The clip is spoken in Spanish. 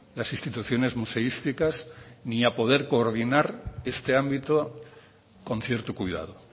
las instituciones museísticas ni a poder coordinar este ámbito con cierto cuidado